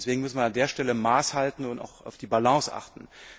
Deswegen müssen wir an der Stelle Maß halten und auf die Balance achten.